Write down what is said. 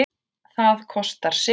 Það kostar sitt.